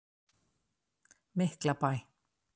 Miklabæ